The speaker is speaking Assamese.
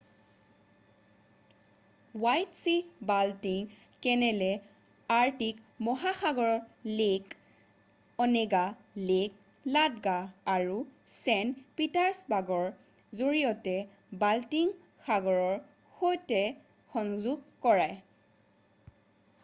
হেৱাইট ছী-বাল্টিক কেনেলে আৰ্কটিক মহাসাগৰক লেক অনেগা লেক লাডগা আৰু ছেইণ্ট পিটাৰ্ছবাৰ্গৰ জৰিয়তে বাল্টিক সাগৰৰ সৈতে সংযোগ কৰায়